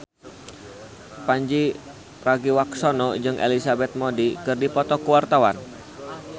Pandji Pragiwaksono jeung Elizabeth Moody keur dipoto ku wartawan